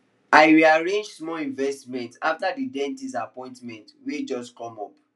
i rearrange small investment after the dentist appointment wey just come up